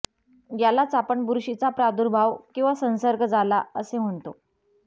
यालाच आपण बुरशीचा प्रादुर्भाव किंवा संसर्ग झाला असे म्हणतो